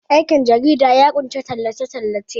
aikin jarida ya kunshi tallace- tallace